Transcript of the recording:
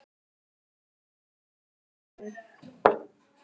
því mildin þín